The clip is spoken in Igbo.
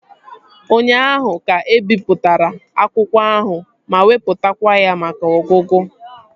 Ụnyaahụ ka ebipụtara akwụkwọ ahụ ma wepụtakwa ya maka ọgụgụ